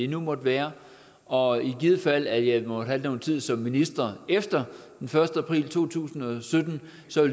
nu måtte være og i givet fald at jeg må have noget tid som minister efter den første april to tusind og sytten